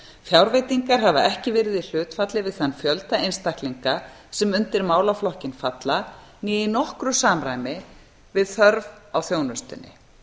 fjárveitingar hafa ekki verið í hlutfalli við þann fjölda einstaklinga sem undir málaflokkinn fjalla né í nokkru samræmi við þörf á þjónustunni